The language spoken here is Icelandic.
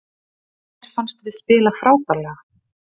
Mér fannst við spila frábærlega